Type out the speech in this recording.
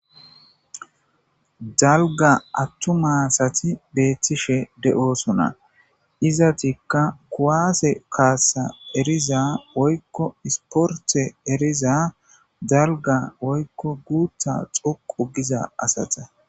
dalga attuma asati beethtishe de7oosona izatikka kuwaase kaassa eriza woykko isporte eriza dalga woykko guutha xoqu giza asata